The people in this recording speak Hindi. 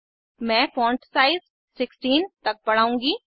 मैं फॉण्ट साइज 16 तक बढ़ाउंगी